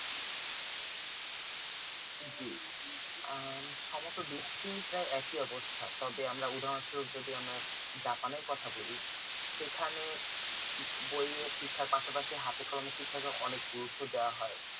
জি আম সমগো বেশি প্রায় একই অবস্থা তবে আমরা উদারণসহ যদি আমরা japan এর কথা বলি সেখানে বই এর শিক্ষার পাশাপাশি হাতে কলমে শিক্ষা অনেক গুরুপ্ত দাওয়া হয়